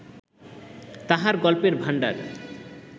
তাঁহার গল্পের ভাণ্ডার